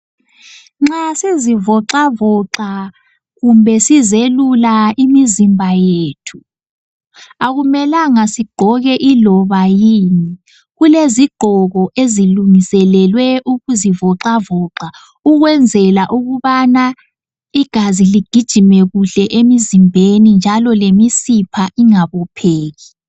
Nxa sizivoxavoxa kumbe sizelula imizimba yethu. Akumelanga sigqoke iloba yini. Kulezigqoko ezilungiselelwe ukuzivoxavoxa ukwenzela ukubana igazi ligijime kuhle emzimbeni njalo lemisipha ingabopheki.